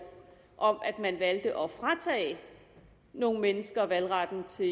om at man valgte at fratage nogle mennesker valgretten til